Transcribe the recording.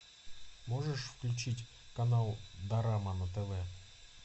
можешь включить канал дорама на тв